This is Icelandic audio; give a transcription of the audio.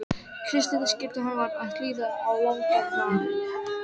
Christian skildi að hann var að hlýða á landráðatal.